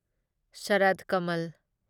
Sarath Kamal